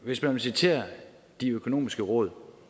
hvis man vil citere de økonomiske råd